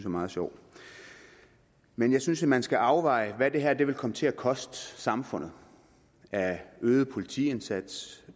meget sjov men jeg synes altså at man skal afveje hvad det her vil komme til at koste samfundet af øget politiindsats